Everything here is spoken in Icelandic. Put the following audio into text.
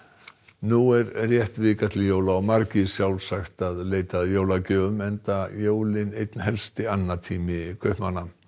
nú er rétt vika til jóla og margir sjálfsagt að leita að jólagjöfum enda jólin einn helsti annatími kaupmanna